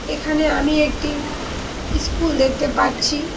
এখানে আমি একটি ইস্কুল দেখতে পারছি।